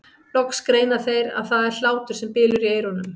Loks greina þeir að það er hlátur sem bylur í eyrunum.